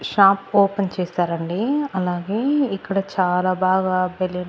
shop open చేసారండి అలాగే ఇక్కడ చాలా బాగా బెలూన్ --